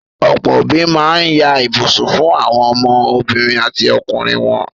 Ọ̀pọ́ òbí ma ń ya ibùsùn fún àwọn ọmọ obìnrin àti ọkùnrin wọn.